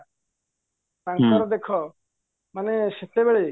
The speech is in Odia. ତାଙ୍କର ଦେଖ ମାନେ ସେତବେଳେ